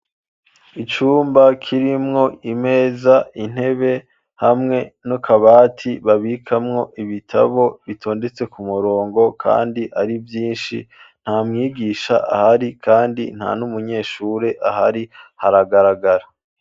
Icumba, kirimwo imeza, intebe, hamwe n'akabati, babikamwo ibitabo; bitondetse ku murongo, kandi ari vyinshi; nta mwigisha ahari, kandi nta n'umunyeshure ahari, haragaragara.